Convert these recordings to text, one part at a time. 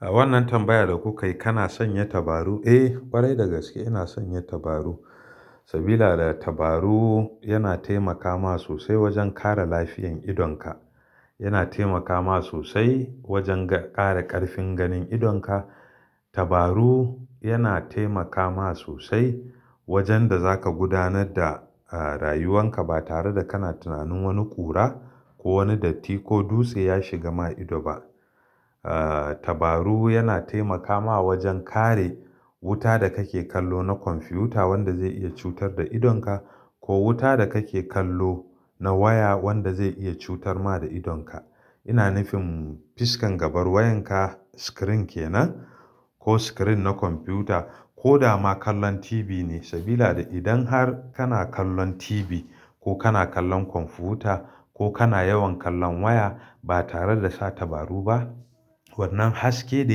A wannan tambayar da kuka yi, kana sanya tabaru? Eh, ƙwarai dagaske ina sanya tabaru. Saboda tabaru yana taimaka ma sosai wajen kare lafiyan idonka. Yana taimaka ma sosai wajen ga, kare ƙarfin ganin idonka. Tabaru yana taimaka ma sosai wajen da zaka gudanar da, eh, rayuwanka ba tare da kana tunanin wani ƙura ko wani datti ko dutse ya shiga ma ido ba. Eh, tabaru yana taimaka ma wajen kare wuta da kake kallo na kwamfiyuta wanda zai iya cutar da idonka ko wuta da kake kallo na waya wanda zai iya cutar ma da idonka. Ina nufin fiskan gaban wayanka screen kenan ko screen na kwamfuta ko dama kallon TV ne. Saboda idan har kana kallon TV ko kana kallon kwamfiyuta ko kana yawan kallon waya ba tare da sa tabaru ba, wannan haske da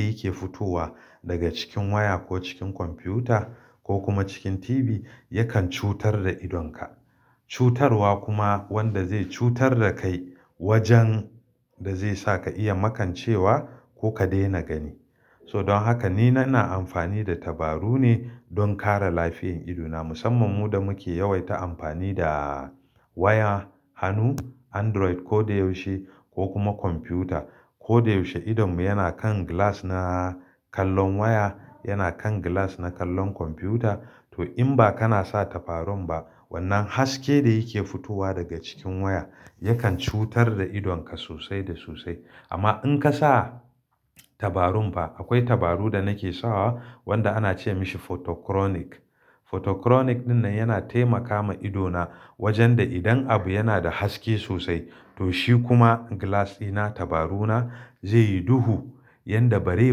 yake fitowa daga cikin waya ko cikin kwamfiyuta ko kuma cikin TV yakan cutar da idonka. Cutarwa kuma wanda zai cutar da kai wajen da zai sa ka iya makancewa ko ka daina gani. So don haka ni na na amfani da tabaru ne don kare lafiyan idona. Musamman mu da muke yawaita amfani da waya, hannu, Android ko da yaushe ko kuma kwamfiyuta. Ko da yaushe idonmu yana kan glass na kallon waya, yana kan glass na kallon kwamfiyuta. To in ba kana sa tabarun ba wannan haske da yake fitowa daga cikin waya yakan cutar da idonka sosai da sosai. Amma in ka sa tabarun ba, akwai tabaru da nake sawa wanda ana ce mashi photo chronic. Photo chronic ɗinnan yana taimaka ma idona wajen da idan abu yana da haske sosai to shi kuma glass dina, tabaruna zai yi duhu yanda bazai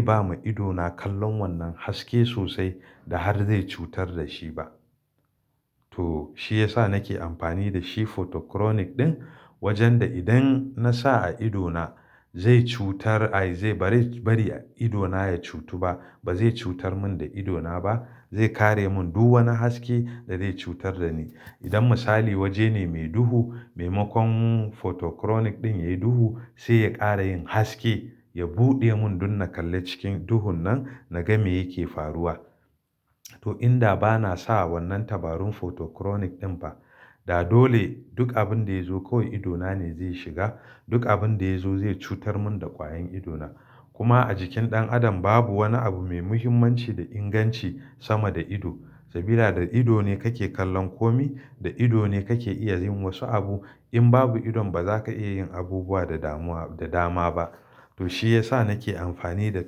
ba ma idona kallon wannan haske sosai da har zai cutar da shi ba. To shi ya sa nake amfani da shi photo chronic ɗin wajen da idan na sa a idona zai cutar, ai zai bari, bari idona ya cutu ba. Ba zai cutar mun da idona ba. Zai kare mun duk wani haske da zai cutar da ni. Idan misali waje ne mai duhu, maimakon photo chronic ɗin ya yi duhu sai ya ƙara yin haske, ya buɗe mun dun na kalla cikin duhun nan, na ga me yake faruwa. To in da ba na sawa wannan tabarun photo chronic ɗin ba, da dole duk abin da ya zo kawai idona ne zai shiga. Duk abin da ya zo zai cutar mun da kwayan idona. Kuma a jikin ɗan adam babu wani abu mai muhimmanci da inganci sama da ido. Sabida da ido ne kake kallon kome, da ido ne kake iya yin wasu abu. In babu idon ba za ka iya yin abubuwa da damuwa, da dama ba. To shi ya sa nake amfani da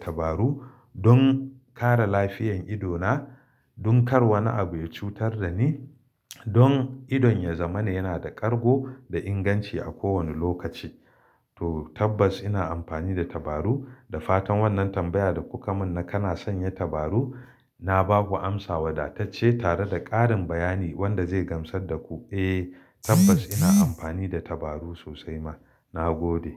tabaru don kare lafiyan idona, don kar wani abu ya cutar da ni, don idon ya zama na yana da ƙargo da inganci a kowane lokaci. To tabbas ina amfani da tabaru. Da fatan wannan tambayar da kuka mun na kana sanya tabaru, na ba ku amsa wadatacce tare da ƙarin bayani wanda zai gamsar da ku. Eh, tabbas ina amfani da tabaru sosai ma. Na gode.